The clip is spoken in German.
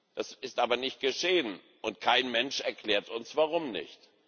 Das ist aber nicht geschehen, und kein Mensch erklärt uns, warum nicht.